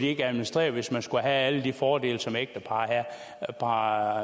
administrere det hvis man skulle have alle de fordele som ægtepar har